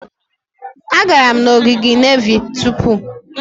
Agara m n'ogige nevy tupu.